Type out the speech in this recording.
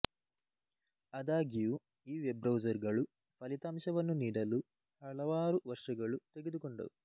ಆದಾಗ್ಯೂ ಈ web browser ಗಳು ಫಲಿತಾಂಶವನ್ನು ನೀಡಲು ಹಲವಾರು ವರ್ಷಗಳು ತೆಗೆದುಕೊಂಡವು